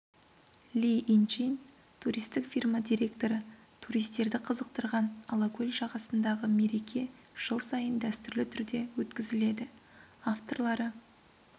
ли инчин туристік фирма директоры туристерді қызықтырған алакөл жағасындағы мереке жыл сайын дәстүрлі түрде өткізіледі авторлары